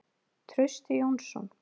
Trausti Jónsson.